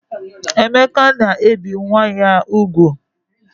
Emeka na-ebe nwa ya ugwu